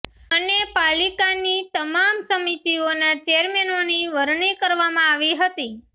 અને પાલિકાની તમામ સમીતીઓના ચેરમેનોની વરણી કરવામાં આવી હતી